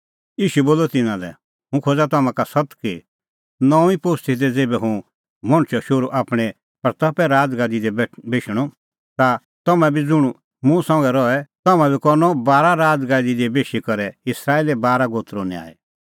ईशू बोलअ तिन्नां लै हुंह खोज़ा तम्हां का सत्त कि नऊंईं पोस्ती दी ज़ेभै हुंह मणछो शोहरू आपणीं महिमें राज़गादी दी बेशणअ ता तम्हैं बी ज़ुंण मुंह संघै रहै तम्हां बी करनअ बारा राज़गादी दी बेशी करै इस्राएले बारा गोत्रो न्याय